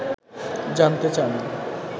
জানতে চান